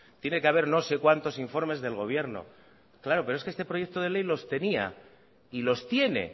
tiene que haber no sé cuantos informes del gobierno claro pero es que este proyecto de ley los tenía y los tiene